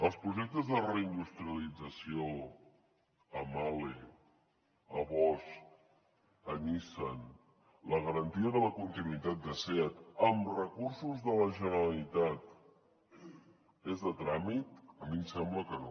els projectes de reindustrialització a mahle a bosch a nissan la garantia de la continuïtat de seat amb recursos de la generalitat és de tràmit a mi em sembla que no